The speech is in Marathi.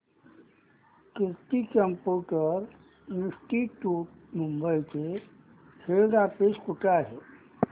कीर्ती कम्प्युटर इंस्टीट्यूट मुंबई चे हेड ऑफिस कुठे आहे